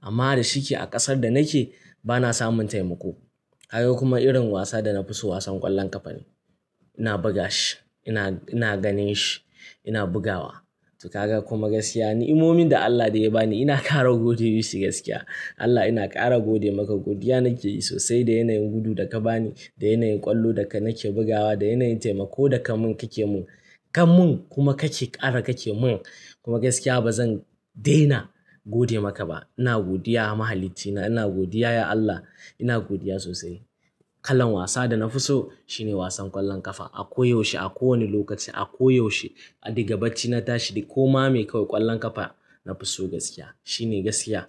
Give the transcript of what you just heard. Amma da shike a ƙasar da nake ba na samun taimako. Ka ga kuma irin wasa da na fi so wasan ƙwallon ƙafa ne. Ina buga shi, ina, ina ganin shi, ina bugawa. To ka ga kuma gaskiya ni imomin da Allah da ya ba ni ina ƙara gode masa gaskiya. Allah ina ƙara gode maka godiya nake yi sosai da yanayin gudu da ka ba ni, da yanayin ƙwallo da ka nake bugawa, da yanayin taimako da ka mun ka ke mun. Ka mun kuma ka ce ƙara ka ce mun. Kuma gaskiya ba zan daina gode maka ba. Ina godiya mahalici na ina godiya ya Allah. Ina godiya sosai. Kalan wasa da na fi so shine wasan ƙwallon ƙafa. A ko yaushe a kowane lokaci a ko yaushe. A digabacci na tashi da koma mai me kawai ƙwallon ƙafa na fi so gaskiya. Shine gaskiya.